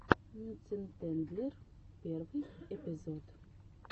мюцентендлер первый эпизод